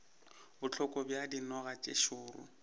bohloko bja dinoga tše šoro